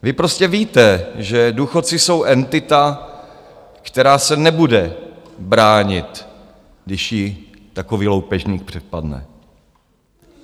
Vy prostě víte, že důchodci jsou entita, která se nebude bránit, když ji takový loupežník přepadne.